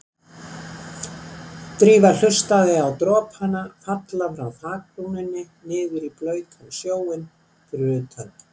Drífa hlustaði á dropana falla frá þakbrúninni niður í blautan snjóinn fyrir utan.